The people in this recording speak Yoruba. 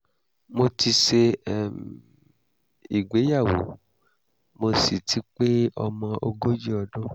mo ti ṣe um ìgbéyàwó mo sì ti pé ọmọ ogójì ọdún